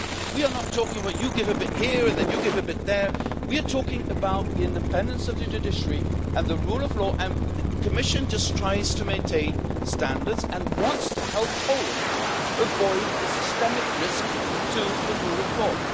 We are not talking about you give a bit here' and then you give a bit there' we're talking about the independence of the judiciary and the rule of law, and the Commission is just trying to maintain standards and wants to help Poland avoid a systemic risk to the rule of law.